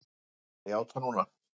Ég ætla að játa núna.